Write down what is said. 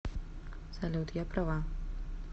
салют я права